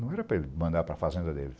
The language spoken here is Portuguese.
Não era para ele mandar para a fazenda dele.